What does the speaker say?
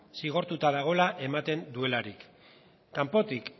zigortuta dagoela ematen duelarik kanpotik